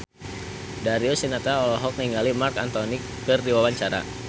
Darius Sinathrya olohok ningali Marc Anthony keur diwawancara